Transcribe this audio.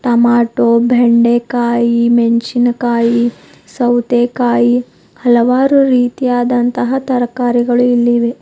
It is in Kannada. ಟೊಮಾಟೋ ಬೆಂಡೆಕಾಯಿ ಮೆಣಸಿನಕಾಯಿ ಸೌತೆಕಾಯಿ ಹಲವಾರು ರೀತಿಯಾದಂತಹ ತರಕಾರಿಗಳು ಇಲ್ಲಿ ಇವೆ.